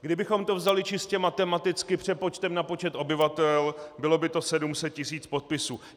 Kdybychom to vzali čistě matematicky přepočtem na počet obyvatel, bylo by to 700 tisíc podpisů.